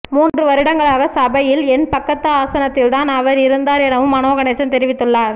மூன்று வருடங்களாக சபையில் என் பக்கத்து ஆசனத்தில்தான் அவர் இருந்தார் எனவும் மனோகணேசன் தெரிவித்துள்ளார்